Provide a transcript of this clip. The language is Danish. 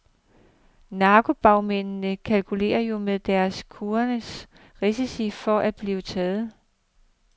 Narkobagmændene kalkulerer jo med deres kurereres risici for at blive taget.